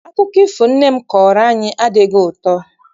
Akụkọ ifo nne m kọọrọ anyị adịghị ụtọ.